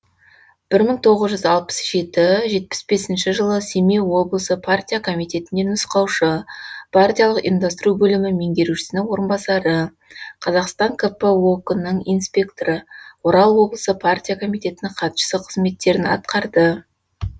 бір мың тоғыз жүз алпыс жеті жетпіс бесінші жылы семей облысы партия комитетінде нұсқаушы партиялық ұйымдастыру бөлімі меңгерушісінің орынбасары қазақстан кп ок нің инспекторы орал облысы партия комитетінің хатшысы қызметтерін атқарды